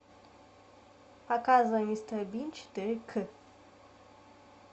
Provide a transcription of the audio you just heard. показывай мистер бин четыре ка